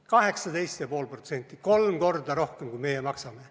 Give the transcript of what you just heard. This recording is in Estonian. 18,5% – kolm korda rohkem, kui meie maksame.